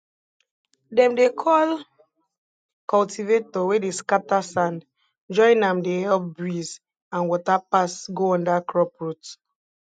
dem dey call cultivator wey dey scatter sand join am dey help breeze and water pass go under crop root